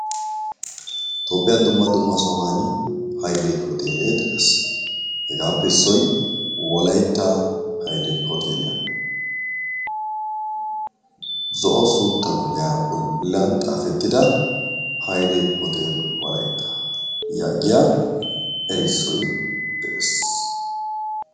Toophiyaan dumma dumma sohuwaan hayle Hootele de'ees. hegeppe issoy Wolaytta haylle hootelliya. zo'o suutta kuliya bollan xaafetida haylle hootel wolaytta yaagiya erissoy de'ees.